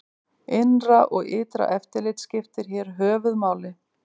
Innra og ytra eftirlit skiptir hér höfuð máli.